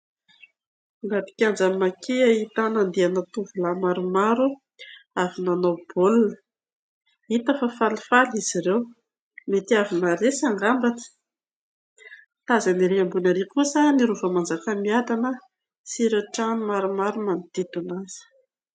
Anaty kianjan'ny Maki ahitana tovolahy maromaro avy nanao baolina, hita fa falifaly izy ireo, mety naharesy angambany. Tazana ery ambony ery kosa ny rovan'i Manjakamiadana sy ireo trano manodidina azy.